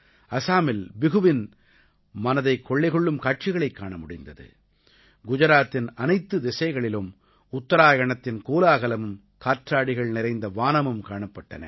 அஸாமில் பிஹூவின் மனதைக் கொள்ளை கொள்ளும் காட்சிகளைக் காண முடிந்தது குஜராத்தின் அனைத்து திசைகளிலும் உத்தராயணத்தின் கோலாஹலமும் காற்றாடிகள் நிறைந்த வானமும் காணப்பட்டன